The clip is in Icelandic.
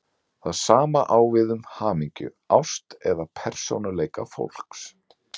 Það sama á við um hamingju, ást eða persónuleika fólks.